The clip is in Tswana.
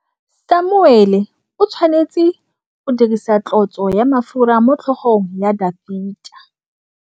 Samuele o tshwanetse go dirisa tlotsô ya mafura motlhôgong ya Dafita.